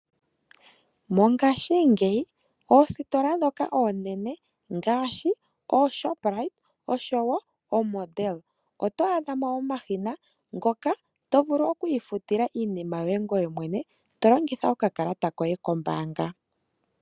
Mongashingeyi oositola ndhoka oonene ngaashi ooShoprite, oshowo oModel oto adha mo omashina ngoka to vulu oku ifutila iinima yoye ngoye mwene to longitha okakalata koye kombaanga.